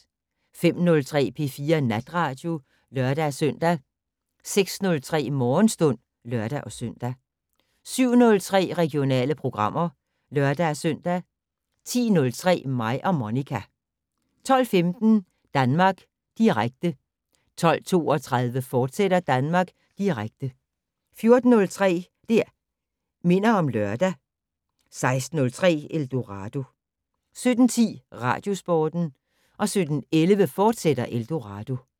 05:03: P4 Natradio (lør-søn) 06:03: Morgenstund (lør-søn) 07:03: Regionale programmer (lør-søn) 10:03: Mig og Monica 12:15: Danmark Direkte 12:32: Danmark Direkte, fortsat 14:03: Det' Minder om Lørdag 16:03: Eldorado 17:10: Radiosporten 17:11: Eldorado, fortsat